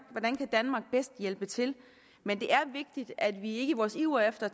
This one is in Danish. bedst hjælpe til men det er vigtigt at vi i vores iver efter